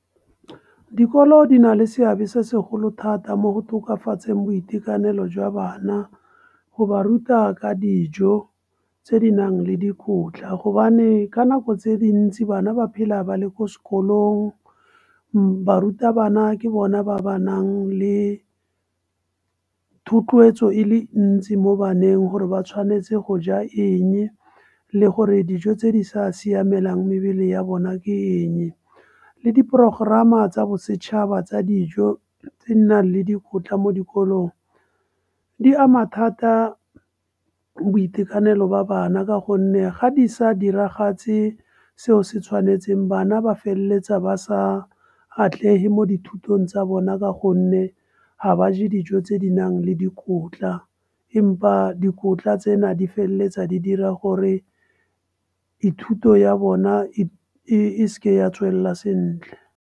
Dikolo di na le seabe se segolo thata mo go tokafatseng boitekanelo jwa bana, go ba ruta ka dijo, tse di nang le dikotla, gobane ka nako tse dintsi bana ba phela ba le ko sekolong barutabana ke bona ba ba nang le thotloetso e le ntsi mo baneng. Gore ba tshwanetse go ja eng, le gore dijo tse di sa siamelang mebele ya bona ke eng. Le diprogerama tsa bosetšhaba tsa dijo tse nang le dikotla mo dikolong, di ama thata boitekanelo ba bana, ka gonne ga di sa diragatse seo se tshwanetseng bana ba feleletsa ba sa atlege mo dithutong tsa bona, ka gonne ga ba ja dijo tse di nang le dikotla. Empa dikotla tsena, di feleletsa di dira gore ithuto ya bona e se ke ya tswelela sentle.